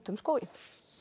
um skóginn